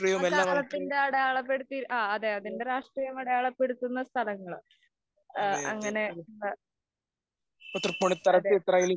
ആ കാലത്തിന്‍റെ അടയാളപ്പെടുത്തി അതേ അതിന്‍റെ രാഷ്ട്രീയം അടയാളപ്പെടുത്തുന്ന സ്ഥലങ്ങള്‍ അങ്ങനെ